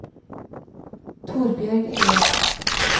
Torbjørg Eliassen